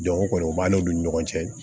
Dɔnko kɔni o b'a n'olu ni ɲɔgɔn cɛ